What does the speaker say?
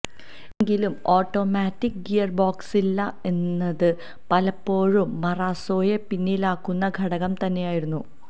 എങ്കിലും ഓട്ടോമാറ്റിക്ക് ഗിയര്ബോക്സില്ല എന്നത് പലപ്പോഴും മറാസോയെ പിന്നിലാക്കുന്ന ഘടകം തന്നെയായിരുന്നു